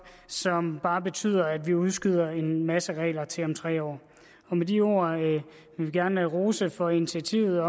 som bare betyder at vi udskyder en masse regler til om tre år med de ord vil vi gerne rose for initiativet